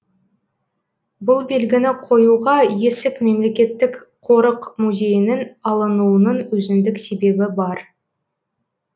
бұл белгіні қоюға есік мемлекеттік қорық музейінің алынуының өзіндік себебі бар